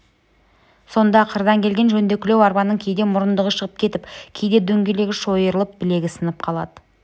сонда қырдан келген жөндекілеу арбаның кейде мұрындығы шығып кетіп кейде дөңгелегі шойырылып білігі сынып қалады